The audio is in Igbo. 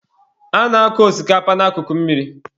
A na-akụ osikapa na akụkụ mmiri.